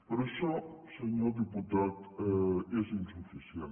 però això senyor diputat és insuficient